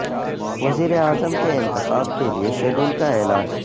وزیر اعظم کے انتخاب کے لیے شیڈول کا اعلان